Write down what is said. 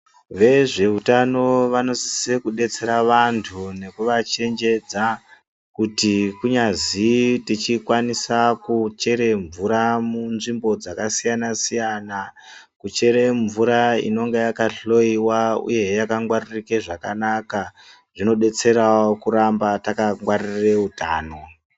Vezveutano vanosise kubetsera vandu nekuvachenjedza kuti kunyazi tichikwanisa ku chere mvura mu nzvimbo dzakasiyana siyana kuchere mvura inenge yakahloyiwa uye he yakangwaririke zvakanaka zvinobetserawo kuramba takangwarire utano